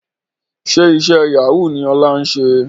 Ṣe iṣẹ́ Yahoo ni Ọlá ń ṣe?